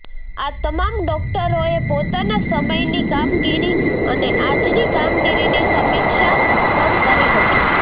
આ તમામ ડોક્ટરોએ પોતાના સમયની કામગીરી અને આજની કામગીરીની સમીક્ષા પણ કરી હતી